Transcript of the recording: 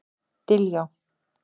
Diljá